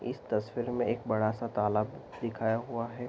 इस तस्वीर में एक बड़ा-सा तालाब दिखाया हुआ है।